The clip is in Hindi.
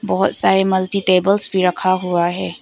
बहुत सारे मल्टी टेबल्स भी रखा हुआ है।